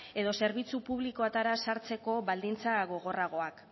edo zerbitzu publikoetara sartzeko baldintza gogorragoak